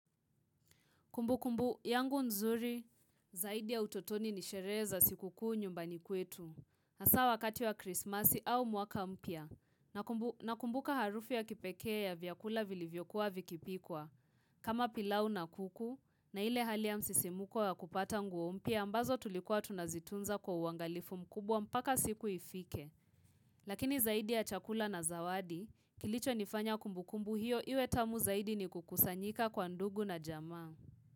Kumbukumbu, yangu nzuri, zaidi ya utotoni ni sherehe za siku kuu nyumbani kwetu. Hasaa wakati wa krismasi au mwaka mpya, nakumbuka harufu ya kipekee ya vyakula vilivyokuwa vikipikwa. Kama pilau na kuku, na ile hali ya msisimuko ya kupata nguo mpya, ambazo tulikuwa tunazitunza kwa uangalifu mkubwa mpaka siku ifike. Lakini zaidi ya chakula na zawadi, kilichonifanya kumbukumbu hiyo, iwe tamu zaidi ni kukusanyika kwa ndugu na jama.